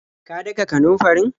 Ka daka kanunfarin?